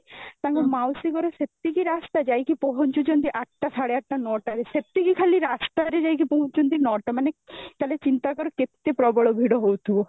ତାଙ୍କ ମାଉସୀ ଘର ସେତିକି ରାସ୍ତା ଯାଇକି ପହଞ୍ଚୁଛନ୍ତି ଆଠଟା, ସାଢେ ଆଠଟା, ନୋଟରେ, ସେତିକି ଖାଲି ରାସ୍ତା ରେ ଯାଇକି ପହଞ୍ଚୁଛନ୍ତି ନୋଟ ମାନେ ତା'ହାଲେ ଚିନ୍ତା କର କେତେ ପ୍ରବଳ ଭିଡ଼ ହଉଥିବ